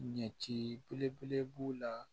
Ɲɛti belebele b'u la